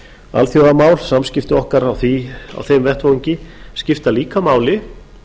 alþjóðamál samskipti okkar á þeim vettvangi skipta líka máli